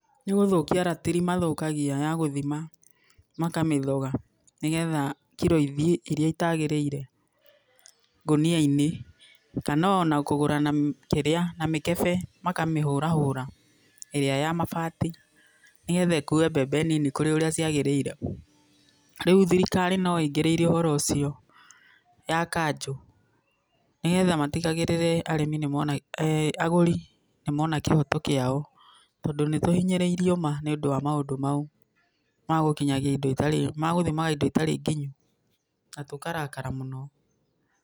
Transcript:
Nĩgũthũkia ratiri mathũkagia ya gũthima. Makamĩthoga nĩgetha kiro ithiĩ iria itagĩrĩire ngũnia-inĩ, kana ona kũgũra na kĩrĩa, na mĩkebe, makamĩhũrahũra, ĩrĩa ya mabati nĩgetha ĩkue mbembe nini kũrĩ ũrĩa ciagĩrĩire. Rĩu thirikari no ĩingĩrĩire ũhoro úcio, ya kanjũ, nigetha matigagĩrĩre arĩmi nĩ mona, agũri nĩmona kĩhoto kĩao. Tondũ nĩtũhinyirĩirio ma nĩũndũ wa maũndũ mau ma gũkinyagia indo itarĩ, magũthimaga indo itarĩ nginyu, na tũkarakara mũno.